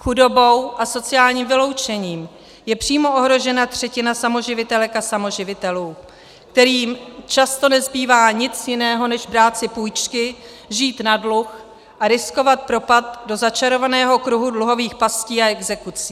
Chudobou a sociálním vyloučením je přímo ohrožena třetina samoživitelek a samoživitelů, kterým často nezbývá nic jiného než si brát půjčky, žít na dluh a riskovat propad do začarovaného kruhu dluhových pastí a exekucí.